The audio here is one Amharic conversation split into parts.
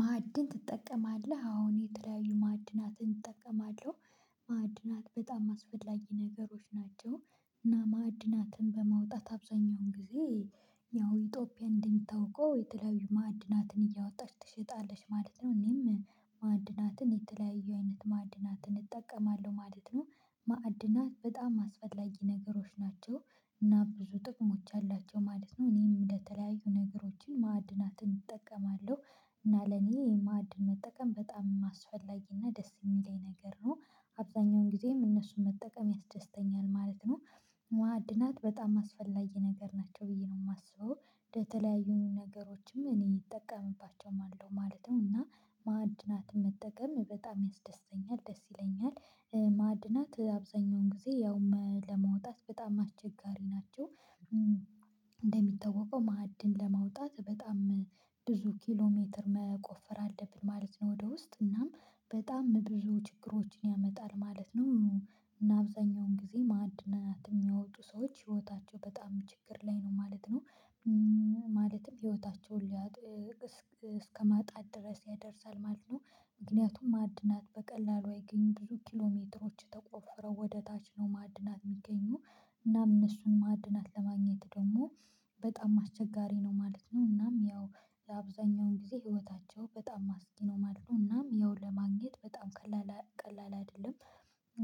ማዕድን ትጠቀማለህ አሁን የተለያዩ ማዕድናትን እጠቀማለሁ። ማዕድናት በጣም አስፈላጊ ነገሮች ናቸው እና ማዕድናትን በማውጣት አብዛኛውን ጊዜ ያው ኢትዮጵያ እንደሚታውቀው የተለያዩ ማዕድናትን እያወጣች ትሸጣለች ማለት ነው። እኔም ማዕድናትን የተለያዩ አይነት ማዕድናትን እጠቀማለሁ ማለት ነው። ማዕድናት በጣም አስፈላጊ ነገሮች ናቸው እና ብዙ ጥቅሞች አሏቸው ማለት ነው። እኔም ለተለያዩ ነገሮችን ማዕድናትን እጠቀማለሁ እና ለኔ የማዕድን መጠቀም በጣም አስፈላጊ እና ደስ የሚለኝ ነገር ነው። አብዛኛውን ጊዜም እነሱን መጠቀም ያስደስተኛል ማለት ነው። ማዕድናት በጣም አስፈላጊ ነገር ናቸው ብዬ ነው የማስበው የተለያዩን ነገሮችም እኔ እጠቀምባቸውም አለው ማለት ነው። እና ማዕድናት መጠቀም በጣም ያስደስተኛል ደስ ይለኛል። ማዕድናት አብዛኛውን ጊዜ ያውም ለመውጣት በጣም አስቸጋሪ ናቸው እንደሚታወቀው ማዕድን ለማውጣት በጣም ብዙ ኪሎ ሜትር መቆፈር አለብን ማለት ነው። ወደ ውስጥ እናም በጣም ብዙ ችግሮችን ያመጣል ማለት ነው። እና አብዛኛውን ጊዜ ማድናት የሚያወጡ ሰዎች ህይወታቸው በጣም ችግር ላይ ነው ማለት ነው። ማለትም ህይወታቸውን እስከማጣት ድረስ ያደርሳል ማለት ነው። ምክንያቱም ማዕድናት በቀላሉ አይገኙም ብዙ ኪሎ ሜትሮች ተቆፈረው ወደ ታች ነው ማዕድናት የሚገኙ። እናም እነሱን ማዕድናት ለማግኘት ደግሞ በጣም አስቸጋሪ ነው ማለት ነው። እናም ያው የአብዛኛውን ጊዜ ህይወታቸው በጣም አስጊ ነው ማለት ነው እናም ያው ለማግኘት በጣም ቀላል ቀላል አይደለም።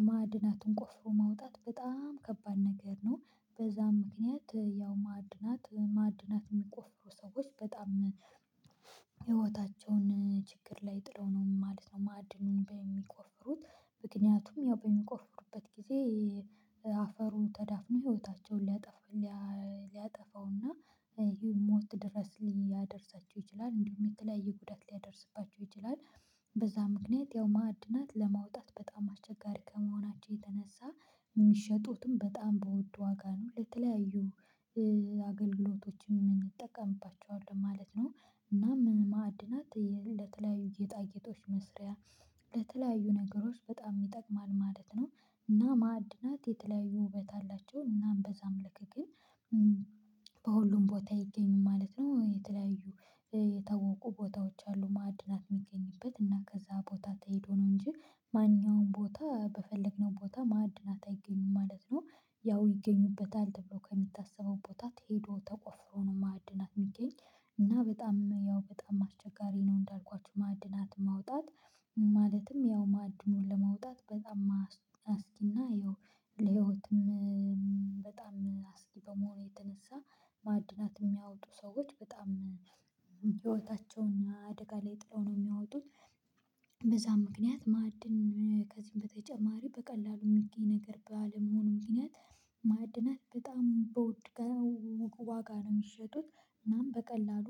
ማዕድናቱን ቆፍሮ ማውጣት በጣም ከባድ ነገር ነው። በዛም ምክንያት ያው ማዕድናት ማዕድናት የሚቆፍሩ ሰዎች በጣም ህይወታቸውን ችግር ላይ ጥለው ነው ማለት ነው። ማዕድኑን ምክንያቱም ያው በሚቆፍሩበት ጊዜ አፈሩ ተዳፍኖ ህይወታቸውን ሊያጠፉ ሊያጠፋውና ይሄ ሞት ድረስ ሊያደርሳቸው ይችላል እንዲሁም የተለያየ ጉዳት ሊያደርስባቸው ይችላል። በዛ ምክንያት ያው ማዕድናት ለማውጣት በጣም አስቸጋሪ ከመሆናቸው የተነሳ ሚሸጡትም በጣም በወድ ዋጋ ነው ለተለያዩ አገልግሎቶችም እንጠቀምባቸዋለን ማለት ነው። እና ምን ማዕድናት ለተለያዩ ጌጣጌጦች መስሪያ ለተለያዩ ነገሮች በጣም ይጠቅማል ማለት ነው። እና ማዕድናት የተለያዩ ውበት አላቸው እናም በዛም ልክ ግን በሁሉም ቦታ ይገኙ ማለት ነው። የተለያዩ የታወቁ ቦታዎች አሉ ማዕድናት የሚገኝበት እና ከዛ ቦታ ተሄዶ ነው እንጂ ማንኛውም ቦታ በፈለግነው ቦታ ማዕድናት አይገኝም ማለት ነው። ያው ይገኙበታል ተብሎ ከሚታሰበው ቦታ ትሄዶ ተቆፍሮ ነው ማዕድናት የሚገኝ። እና በጣም ያው በጣም አስቸጋሪ ነው እንዳልኳችሁ ማዕድናት ማውጣት። ማለትም ያው ማዕድኑን ለማውጣት በጣም አስጊና ይኸው ለህይወትም በጣም አስጊ በመሆኑ የተነሳ ማዕድናት የሚያወጡ ሰዎች በጣም ህይወታቸውና አደጋ ላይ ጥለው ነው የሚያወጡት። በዛም ምክንያት ማዕድን ከዚህም በተጨማሪ በቀላሉ የሚገኝ ነገር ባለመሆኑ ምክንያት። ማዕድናት በጣም በውድ ዋጋ ነው የሚሸጡት እናም በቀላሉ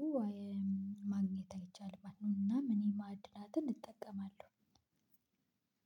ማግኘት አይቻልም። እናም እኔ ማድናትን እጠቀማለሁ።